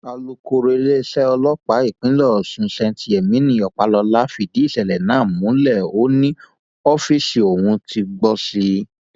àlùkòòró iléeṣẹ ọlọpàá ìpínlẹ ọṣún st yemini ọpàlọlá fìdí ìṣẹlẹ náà múlẹ ó ní ọfíìsì òun ti gbó sí i